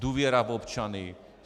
Důvěra v občany.